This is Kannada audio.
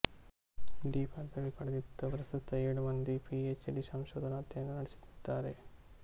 ಡಿ ಪದವಿ ಪಡೆದಿದ್ದು ಪ್ರಸ್ತುತ ಏಳು ಮಂದಿ ಪಿ ಎಚ್ ಡಿ ಸಂಶೋಧನಾ ಅಧ್ಯಯನ ನಡೆಸುತ್ತಿದ್ದಾರೆ